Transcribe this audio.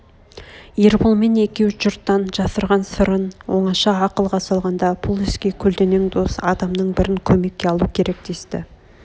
ерболмен екеу жұрттан жасырған сырын оңаша ақылға салғанда бұл іске көлденең дос адамның бірін көмекке алу керек десті